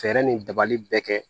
Fɛɛrɛ nin dabali bɛɛ kɛ